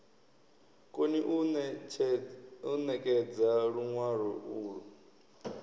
koni u ṋekedza luṅwalo ulwo